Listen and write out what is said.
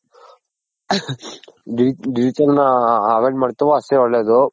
digital ನ avoid ಮಡ್ತಿವೋ ಅಷ್ಟೆ ಒಳ್ಳೇದು.